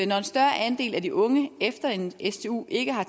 når en større andel af de unge efter en stu ikke har